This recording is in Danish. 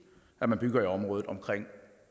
at man bygger i området omkring